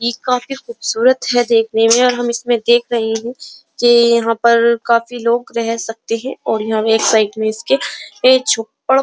काफी खुबसूरत है देखने में और हम इसमें देख रहे है। ये यहाँ पर काफी लोग रह सकते है और यहाँ में साइड में इसके एक झोपड़ --